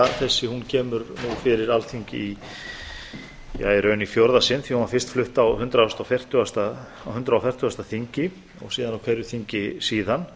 hún kemur nú fyrir alþingi í ja í rauninni í fjórða sinn því að hún var fyrst flutt á hundrað og fertugasta þingi og síðan á hverju þingi síðan